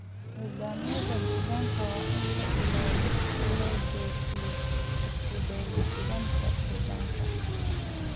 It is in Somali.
Nidaamyada deegaanka waa in la ilaaliyo si loo joogteeyo isku dheellitirnaanta deegaanka.